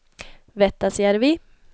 Vettasjärvi